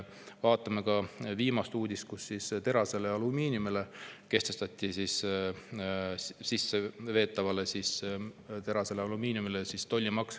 Viimane uudis oli selle kohta, et sisseveetavale terasele ja alumiiniumile kehtestati tollimaks.